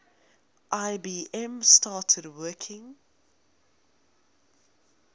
ibm started working